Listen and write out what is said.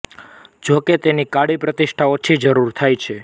જોકે તેની કાળી પ્રતિષ્ઠા ઓછી જરૂર થાય છે